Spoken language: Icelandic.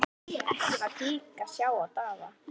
Ekki var hik að sjá á Daða.